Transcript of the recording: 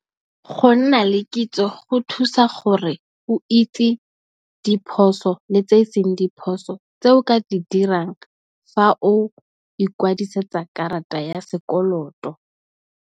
Go nna le kitso go thusa gore o itse diphoso, le tse e seng diphoso tse o ka di dirang fa o ikwadisetsa karata ya sekoloto.